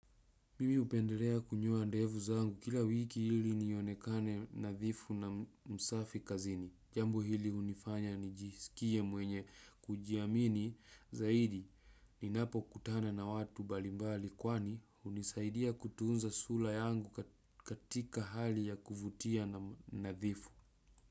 Mimi upendelea kunyoa ndevu zangu kila wiki hili nionekane nadhifu na msafi kazini. Jambo hili unifanya nijisikie mwenye kujiamini zaidi ninapo kutana na watu mbalimbali kwani unisaidia kutunza sula yangu katika hali ya kuvutia nadhifu.